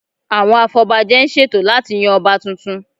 Àwọn afọbajẹ ń ṣètò láti yan Ọba tuntun